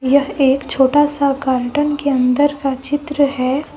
यह एक छोटा सा गार्डेन के अन्दर का चित्र है।